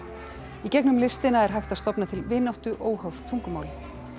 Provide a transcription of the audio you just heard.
í gegnum listina er hægt að stofna til vináttu óháð tungumáli